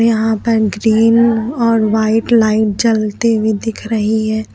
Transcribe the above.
यहां पर ग्रीन और व्हाइट लाइट जलते हुए दिख रही है।